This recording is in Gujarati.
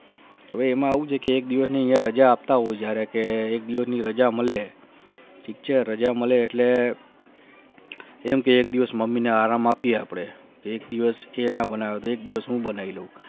એમાં હું છે કી એક દિવસ ની રજા આપતા હોય જયારે કે એક દિવસ ની રજા મળે ઠીક છે રજા મળે એટલે એમ થે કી mummy ને આરામ માંથી અપને એક દિવસ તે ના બનાવી એક દિવસ હું બનાવી છે